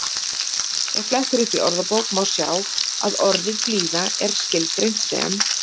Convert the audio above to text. Ef flett er upp í orðabók má sjá að orðið blíða er skilgreint sem